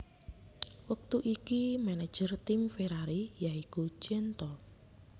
Wektu iki manajer tim Ferrari ya iku Jean Todt